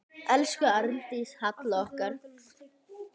Elsku Arndís Halla okkar.